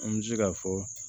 An bɛ se k'a fɔ